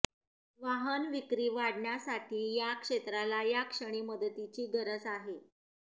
वाहन विक्री वाढण्यासाठी या क्षेत्राला याक्षणी मदतीची गरज आहे